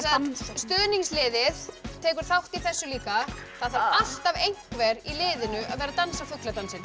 stuðningsliðið tekur þátt í þessu líka það þarf alltaf einhver í liðinu að vera að dansa fugladansinn